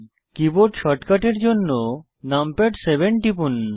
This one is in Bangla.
কীবোর্ড শর্টকাটের জন্য নামপ্যাড 7 টিপুন